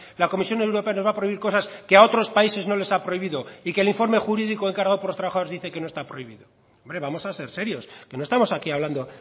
la comisión europea nos va a prohibir cosas que a otros países no les ha prohibido y que el informe jurídico encargado por los trabajadores dice que no está prohibido hombre vamos a ser serios que no estamos aquí hablando